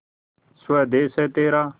स्वदेस है तेरा